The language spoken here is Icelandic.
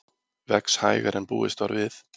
Vex hægar en búist var við